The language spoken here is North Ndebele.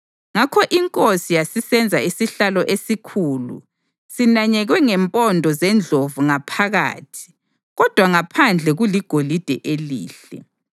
Ngakho inkosi yasisenza isihlalo esikhulu sinanyekwe ngempondo zendlovu ngaphakathi kodwa ngaphandle kuligolide elihle.